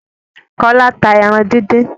Kọ́lá ta ẹran díndín.